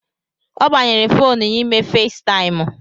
Ọ agbanyere fonu ya ime Faistaimụ